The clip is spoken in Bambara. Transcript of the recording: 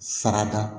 Sarada